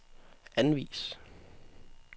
anvis